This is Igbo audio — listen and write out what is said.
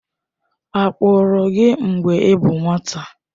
A kpagburu gị mgbe ị bụ nwata?